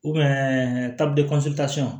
tapisilitasɔn